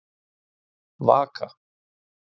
Vaka